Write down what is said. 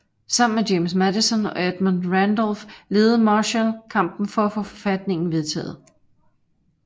Sammen med James Madison og Edmund Randolph ledede Marshall kampen for at få forfatningen vedtaget